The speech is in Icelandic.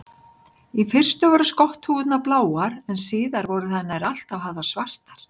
Í fyrstu voru skotthúfurnar bláar en síðar voru þær nær alltaf hafðar svartar.